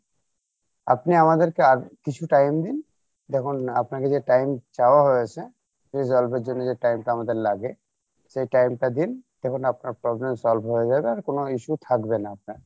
আপনি আমাদেরকে আর কিছু time দিন দেখুন আপনার কাছে time চাওয়া হয়েছে resolve এর জন্য যে time টা আমাদের লাগে সেই time টা দিন দেখুন আপনার problem solve হয়ে যাবে আর কোনো issue থাকবে না আপনার